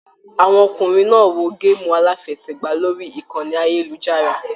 Àwọn ọkùnrin náà wò gaamu alafẹ̀sẹ̀gba lórí ìkànnì ayelujara.